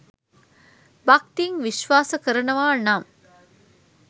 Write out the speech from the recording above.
භක්තියෙන් විශ්වාස කරනවා නම්